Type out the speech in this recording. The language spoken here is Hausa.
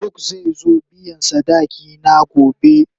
Faruk zai zo biyan sadaki na gobe.